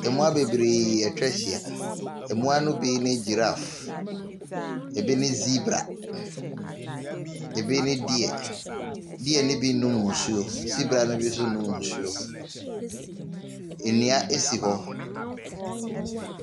Mmoa bebree atwa ahyia. Mmoa no bi ne giraffe, ebi ne zebra, ebi ne deer. Deer no bi renom nsuo, zebra no bi nso renom nsuo. Nnua si hɔ.